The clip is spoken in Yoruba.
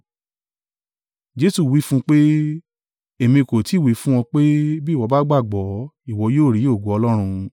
Jesu wí fún un pé, “Èmi kò ti wí fún ọ pé, bí ìwọ bá gbàgbọ́, ìwọ yóò rí ògo Ọlọ́run?”